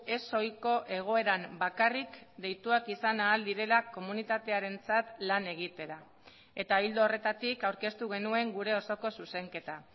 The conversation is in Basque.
ez ohiko egoeran bakarrik deituak izan ahal direla komunitatearentzat lan egitera eta ildo horretatik aurkeztu genuen gure osoko zuzenketa